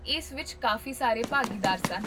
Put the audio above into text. ਇਸ ਵਿੱਚ ਕਾਫ਼ੀ ਸਾਰੇ ਭਾਗੀਦਾਰ ਸਨ